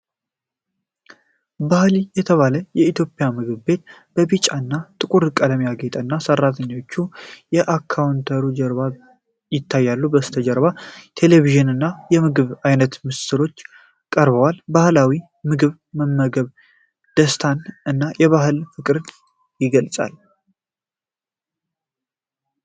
ባህሊ የተባለ የኢትዮጵያ ምግብ ቤት በቢጫና ጥቁር ቀለም ያጌጠ እና ሰራተኞች ከካውንተሩ ጀርባ ይታያሉ። ከበስተጀርባ ቴሌቪዥን ላይ የምግብ አይነቶች በምስል ቀርበዋል። የባህላዊ ምግብን መመገብ ደስታን እና ለባህል ፍቅርን ይገልጣል።